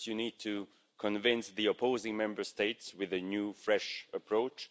First, you need to convince the opposing Member States with a new, fresh approach.